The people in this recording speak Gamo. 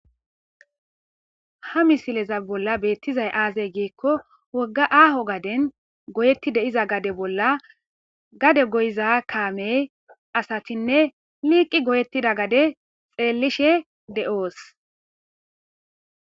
ha misileza bolla beettizay aazey giekko wogga aaho gaden goyetti de7iza gade bolla gade goyiza kaamey asatinne liiqi goyettida gade xeellishe de7oos